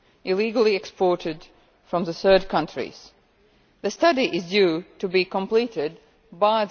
illegally exported from third countries. The study is due to be completed by